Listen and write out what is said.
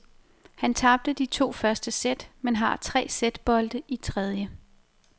Han tabte de to første sæt, men har tre sætbolde i tredje.